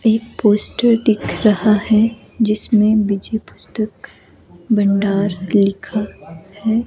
एक पोस्टर दिख रहा है जिसमें विजय पुस्तक भंडार लिखा है।